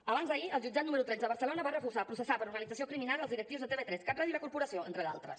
abans d’ahir el jutjat número tretze de barcelona va refusar processar per organització criminal els directius de tv3 catràdio i la corporació entre d’altres